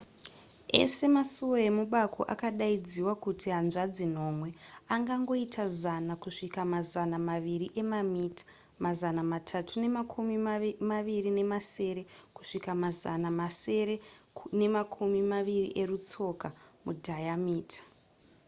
ese masuwo emubako akadaidziwa kuti hanzvadzi nomwe angangoita zana kusvika mazana maviri emamita mazana matatu nemakumi maviri nemasere kusvika mazana masere nemakumi maviri erutsoka mudhayamita